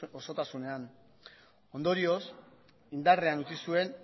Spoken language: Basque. osotasunean ondorioz indarrean utzi zuen